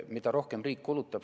Aitäh!